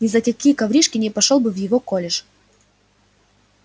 ни за какие коврижки не пошёл бы в его колледж